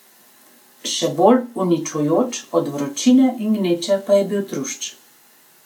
Še bolj uničujoč od vročine in gneče pa je bil trušč.